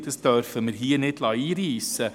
Dies dürfen wir hier nicht einreissen lassen.